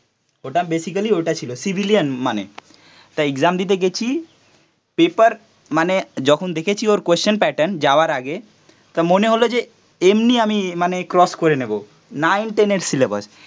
ওটা বেসিকেলি ওটা ছিল, সিভিলিয়ান মানে. তা এক্সাম দিতে গেছি. পেপার মানে যখন দেখেছি ওর কোশ্চেন প্যাটার্ন, যাওয়ার আগে তা মনে হলো যে এমনি আমি মানে ক্রস নেবো, নাইন টেন এর সিলেবাস